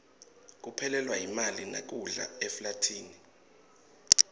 kuphelelwa yimali nekudla eflathini